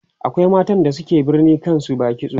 akwai matan da suke barin kan su ba kitso